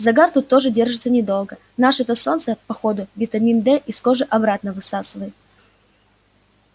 загар тут тоже держится недолго наше-то солнце по ходу витамин д из кожи обратно высасывает